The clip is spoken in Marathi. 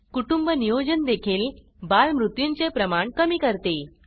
कुटुंब नियोजन देखील बालमृत्यूंचे प्रमाण कमी करते